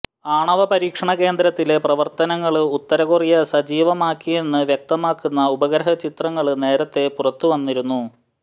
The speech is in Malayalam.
ആണവ പരീക്ഷണ കേന്ദ്രത്തിലെ പ്രവര്ത്തനങ്ങള് ഉത്തര കൊറിയ സജീവമാക്കിയെന്ന് വ്യക്തമാക്കുന്ന ഉപഗ്രഹ ചിത്രങ്ങള് നേരത്തെ പുറത്തുവന്നിരുന്നു